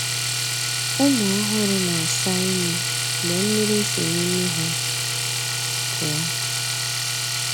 Ụmụ ọhụrụ na-asa imi mgbe mmiri si n’imi ha pụọ.